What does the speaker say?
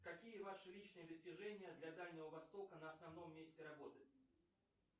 какие ваши личные достижения для дальнего востока на основном месте работы